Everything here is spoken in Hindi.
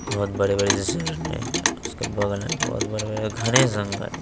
बहोत बड़े-बड़े झरने हैं उसके बगल में बहोत बड़े-बड़े घने जंगल हें।